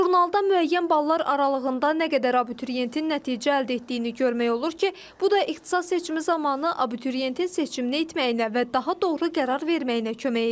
Jurnalda müəyyən ballar aralığında nə qədər abituriyentin nəticə əldə etdiyini görmək olur ki, bu da ixtisas seçimi zamanı abituriyentin seçimini etməyinə və daha doğru qərar verməyinə kömək edir.